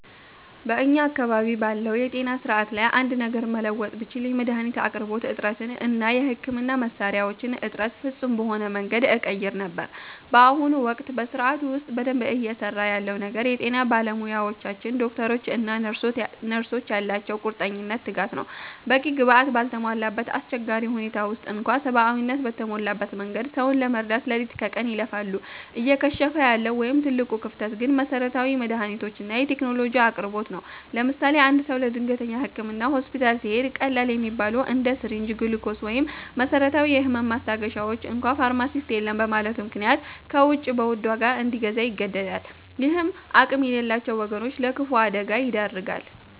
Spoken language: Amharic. በእኛ አካባቢ ባለው የጤና ሥርዓት ላይ አንድ ነገር መለወጥ ብችል፣ የመድኃኒት አቅርቦት እጥረትን እና የሕክምና መሣሪያዎችን እጥረት ፍጹም በሆነ መንገድ እቀይር ነበር። በአሁኑ ወቅት በሥርዓቱ ውስጥ በደንብ እየሠራ ያለው ነገር የጤና ባለሙያዎቻችን (ዶክተሮች እና ነርሶች) ያላቸው ቁርጠኝነትና ትጋት ነው። በቂ ግብዓት ባልተሟላበት አስቸጋሪ ሁኔታ ውስጥ እንኳ ሰብአዊነት በተሞላበት መንገድ ሰውን ለመርዳት ሌሊት ከቀን ይለፋሉ። እየከሸፈ ያለው ወይም ትልቁ ክፍተት ግን የመሠረታዊ መድኃኒቶችና የቴክኖሎጂ አቅርቦት ነው። ለምሳሌ፦ አንድ ሰው ለድንገተኛ ሕክምና ሆስፒታል ሲሄድ፣ ቀላል የሚባሉትን እንደ ሲሪንጅ፣ ግሉኮስ ወይም መሰረታዊ የህመም ማስታገሻዎችን እንኳ ፋርማሲስት የለም በማለቱ ምክንያት ከውጭ በውድ ዋጋ እንዲገዛ ይገደዳል። ይህም አቅም የሌላቸውን ወገኖች ለከፋ አደጋ ይዳርጋል።